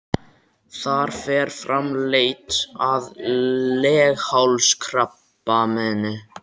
Þar fer fram leit að leghálskrabbameini.